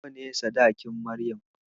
Nawa ne sadakin Maryam.